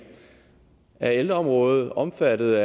er ældreområdet omfattet